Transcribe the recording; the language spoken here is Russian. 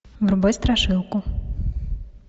врубай страшилку